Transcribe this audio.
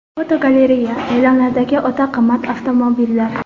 Fotogalereya: E’lonlardagi o‘ta qimmat avtomobillar.